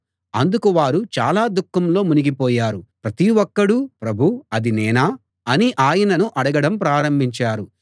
అందుకు వారు చాలా దుఃఖంలో మునిగిపోయారు ప్రతి ఒక్కడూ ప్రభూ అది నేనా అని ఆయనను అడగడం ప్రారంభించారు